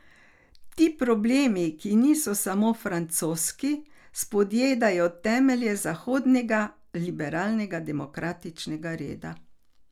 Ti problemi, ki niso samo francoski, spodjedajo temelje zahodnega, liberalno demokratičnega reda.